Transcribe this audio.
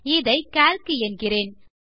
இதை கால்க் என்கிறேன்